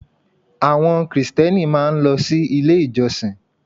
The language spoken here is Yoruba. Àwọn Krìstẹ́nì máa ń lọ sí Ilé ìjọsìn